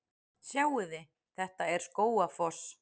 Sjáiði! Þetta er Skógafoss.